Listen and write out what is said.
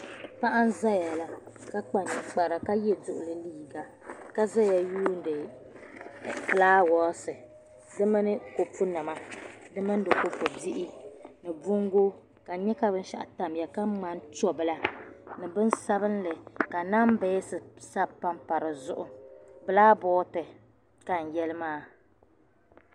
Paɣa nzaya la ka kpa ninkpara kaye duɣili liiga kazaya n yuuni fulaawaase di mini kopu nima di mini di ko pu bihi ni bɔŋ go kan nyɛ ka binshɛɣu tamya ka ŋmani pɛ bila ni bin sabinli ka nambas sabi m pampa dizuɣu bilaa bɔɔdi ka n yalimaa